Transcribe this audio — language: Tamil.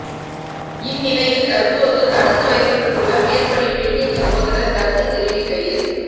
இந்நிலையில் தற்போது தடுத்து வைக்கப்பட்டுள்ள மேற்படி பெண்ணின் சகோதரர் கருத்துத் தெரிவிக்கையில்